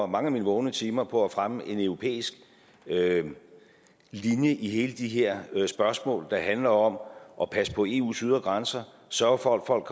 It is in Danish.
mange af mine vågne timer på at fremme en europæisk linje i hele det her spørgsmål der handler om at passe på eus ydre grænser sørge for at folk